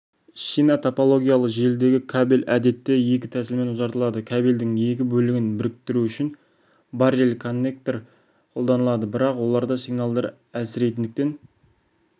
шина топологиялы желідегі кабель әдетте екі тәсілмен ұзартылады кабельдің екі бөлігін бірікітіру үшін баррел-коннекторды қолданады бірақ оларда сигналдар әлсірейтіндіктен